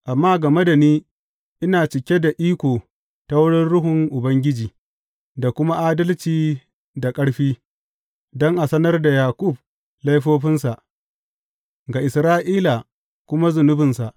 Amma game da ni, ina cike da iko ta wurin Ruhun Ubangiji da kuma adalci da ƙarfi, don a sanar da Yaƙub laifofinsa, ga Isra’ila kuma zunubinsa.